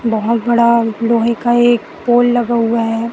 बहोत बड़ा लोहे का एक पोल लगा हुआ हैं।